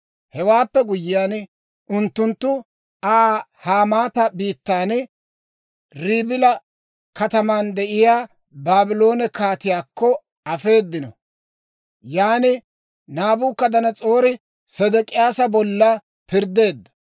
Hewaappe guyyiyaan, unttunttu Aa Hamaata biittan, Ribila kataman de'iyaa Baabloone kaatiyaakko afeedino. Yaan Naabukadanas'oori Sedek'iyaasa bolla pirddeedda.